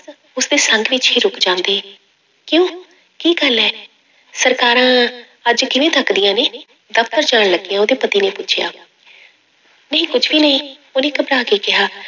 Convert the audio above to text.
ਉਸਦੇ ਸੰਗ ਵਿੱਚ ਹੀ ਰੁੱਕ ਜਾਂਦੇ, ਕਿਉਂ ਕੀ ਗੱਲ ਹੈ, ਸਰਕਾਰਾਂ ਅੱਜ ਕਿਵੇਂ ਤੱਕਦੀਆਂ ਨੇ, ਦਫ਼ਤਰ ਜਾਣ ਲੱਗਿਆਂ ਉਹਦੇ ਪਤੀ ਨੇ ਪੁੱਛਿਆ ਨਹੀਂ ਕੁਛ ਵੀ ਨਹੀਂ, ਉਹਨੇ ਘਬਰਾ ਕੇ ਕਿਹਾ।